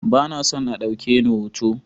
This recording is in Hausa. Ba na son a ɗauke ni hoto.